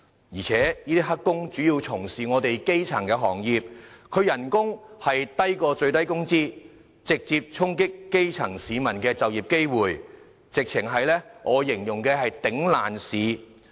而且這些"黑工"主要從事基層行業，工資較最低工資低，直接衝擊基層市民的就業機會，我形容為"簡直是'頂爛市'"。